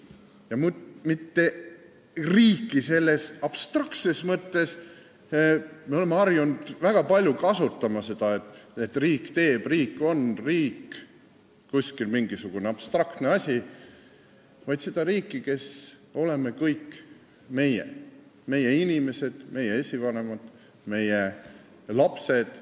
Ja mitte riiki selles abstraktses mõttes – me oleme harjunud väga palju kasutama seda, et riik teeb, riik on, riik on kuskil mingisugune abstraktne asi –, vaid seda riiki, kes oleme meie kõik, st meie inimesed, meie esivanemad, meie lapsed.